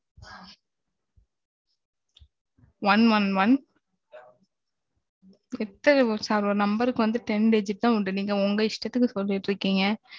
one one one எத்தன ஒரு number க்கு வந்து, ten digit தான் உண்டு. நீங்க உங்க இஷ்டத்துக்கு, சொல்லிட்டு இருக்கீங்க